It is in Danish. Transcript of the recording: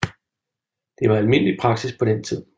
Det var almindelig praksis på den tid